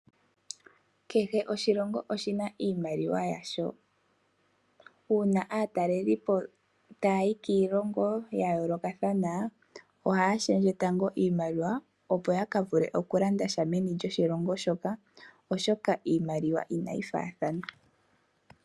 Kehe oshilongo oshina iimaliwa yasho. Uuna aatalelipo taayi kiilongo ya yoolokathana ohaa shendje tango iimaliwa opo ya ka vule okulanda sha meni lyoshilongo shoka, oshoka iimaliwa inayi faathana.